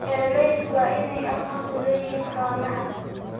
Beeralaydu waa inay aqoon u leeyihiin xoolaha.